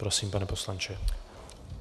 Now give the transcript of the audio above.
Prosím, pane poslanče.